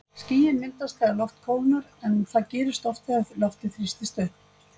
Skýin myndast þegar loft kólnar en það gerist oft þegar loftið þrýstist upp.